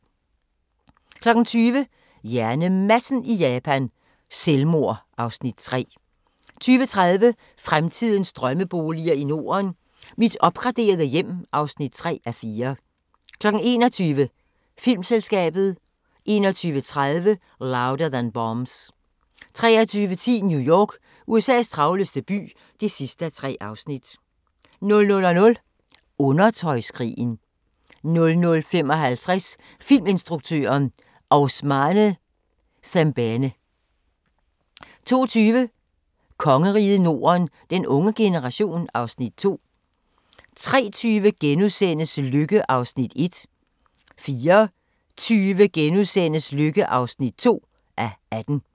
20:00: HjerneMadsen i Japan – Selvmord (Afs. 3) 20:30: Fremtidens Drømmeboliger i Norden: Mit opgraderede hjem (3:4) 21:00: Filmselskabet 21:30: Louder Than Bombs 23:10: New York – USA's travleste by (3:3) 00:00: Undertøjskrigen 00:55: Filminstruktøren Ousmane Sembene 02:20: Kongeriget Norden - den unge generation (Afs. 2) 03:20: Lykke (1:18)* 04:20: Lykke (2:18)*